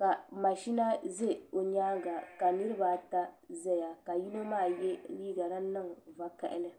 ka mashina ʒɛ o nyaanga ka niraba ata ʒɛya ka yino maa yɛ liiga din niŋ vakaɣali